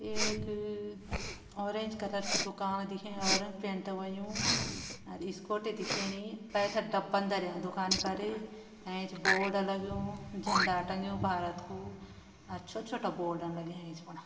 एक orange colour की दुकान दिखेणी ऑरेंज पैंट व्होयुं और स्कूटी दिखेणी पैथर डब्बान धर्यां दुकानि पर एंच बोर्ड लग्यूं झंडा टंग्यूं भारत कू और छोटा-छोटा बोर्ड लग्यां इस्फ़ुणा।